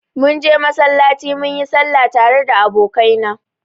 Munje masallaci munyi sallah tare da abokaina.